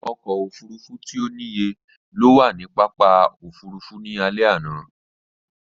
Ọkọ̀ òfurufú tí ò níye ló wà ní pápákọ̀ òfurufú ní alẹ́ àná